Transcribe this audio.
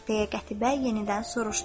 Deyə Qətibə yenidən soruşdu.